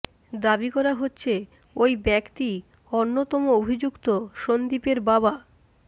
দাবি করা হচ্ছে ওই ব্যক্তি অন্যতম অভিযুক্ত সন্দীপের বাবা